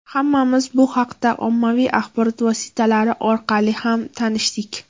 Hammamiz bu haqda ommaviy axborot vositalari orqali ham tanishdik.